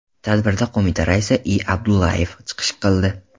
Tadbirda qo‘mita raisi I. Abdullayev chiqish qildi.